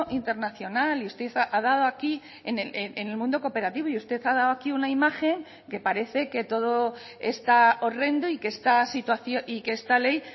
internacional y usted ha dado aquí en el mundo cooperativo y usted ha dado aquí una imagen que parece que todo está horrendo y que esta situación y que esta ley